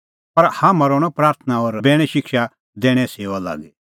पर हाम्हां रहणअ प्राथणां और बैणे शिक्षा दैणें सेऊआ लागी